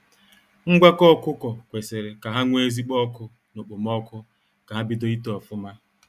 Ngwakọ ọkụkọ kwesịrị ka ha nwee ezigbo ọkụ na okpomọkụ ka ha bido ito ofụma.